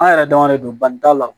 An yɛrɛ dama de don bani t'a la